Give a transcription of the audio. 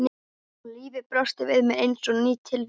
Og lífið brosti við mér eins og ný tilvera.